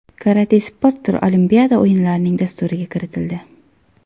Karate sport turi Olimpiada o‘yinlarining dasturiga kiritildi.